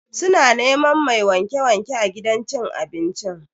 Suna neman mai wanke-wanke a gidan cin abincin.